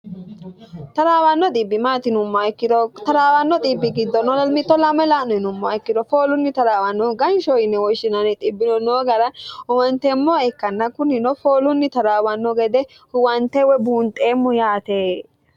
taraawanno xbimtinumm ikkiro traawanno bbi giddnlmt 2 2a'nnumma ikkiro foolunni taraawannohu ganshyie woshshin io noo gara uwanteemmoa ikkanna kunnino foolunni taraawanno gede huwantee we buunxeemmu yaate